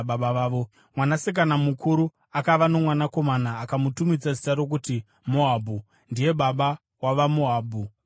Mwanasikana mukuru akava nomwanakomana, akamutumidza zita rokuti Moabhu; ndiye baba wavaMoabhu vanhasi.